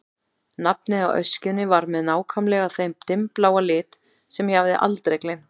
Nafnið á öskjunni var með nákvæmlega þeim dimmbláa lit sem ég hafði aldrei gleymt.